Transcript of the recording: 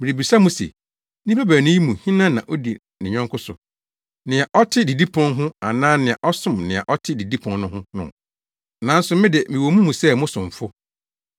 Merebisa mo se, nnipa baanu yi mu hena na odi ne yɔnko so, nea ɔte didipon ho anaa nea ɔsom nea ɔte didipon no ho no? Nanso me de, mewɔ mo mu sɛ mo somfo.